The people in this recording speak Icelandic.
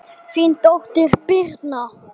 Þín dóttir, Birna.